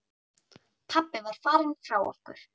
Pabbi var farinn frá okkur.